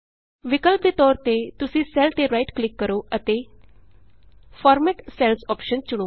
ਵਿਕਲਪ ਦੇ ਤੌਰ ਵਿਚ ਤੁਸੀਂ ਸੈੱਲ ਤੇ ਰਾਈਟ ਕਲਿਕ ਕਰੋ ਅਤੇ ਫਾਰਮੈਟ ਸੈਲਜ਼ ਅੋਪਸ਼ਨ ਚੁਣੋ